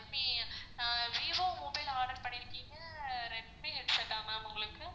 redmi ஆஹ் vivo mobile order பண்ணிருக்கீங்க ஆஹ் redmi headset ஆ ma'am உங்களுக்கு?